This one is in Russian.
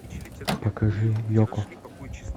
покажи йоко